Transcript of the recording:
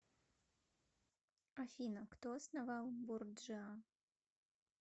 афина кто основал борджиа